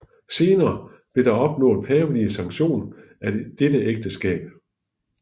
Senere blev der opnået pavelig sanktion af dette ægteskab